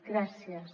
gràcies